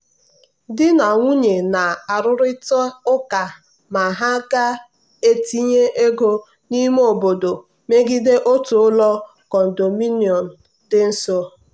di na nwunye a na-arụrịta ụka ma ha ga-etinye ego n'ime obodo megide otu ụlọ condominium dị nso.